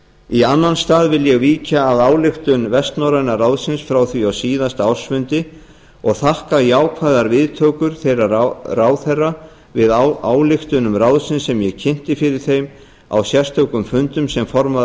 í annan stað vil ég víkja að ályktunum vestnorræna ráðsins frá því á síðasta ársfundi og þakka jákvæðar viðtökur þeirra ráðherra við ályktunum ráðsins sem ég kynnti fyrir þeim á sérstökum fundum sem formaður